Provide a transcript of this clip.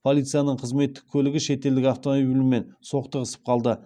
полицияның қызметтік көлігі шетелдік автомобильмен соқтығысып қалды